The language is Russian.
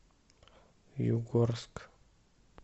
югорск